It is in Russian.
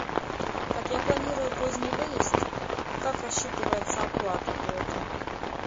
так я планирую поздний выезд как рассчитывается оплата при этом